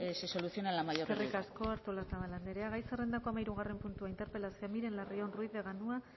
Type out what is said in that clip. se solucione a la mayor brevedad eskerrik asko artolazabal anderea gai zerrendako hamahirugarren puntua interpelazioa miren larrion ruiz de